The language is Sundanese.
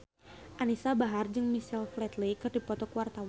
Anisa Bahar jeung Michael Flatley keur dipoto ku wartawan